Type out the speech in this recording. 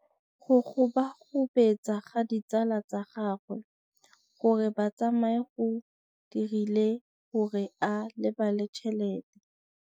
Go gobagobetsa ga ditsala tsa gagwe, gore ba tsamaye go dirile gore a lebale tšhelete.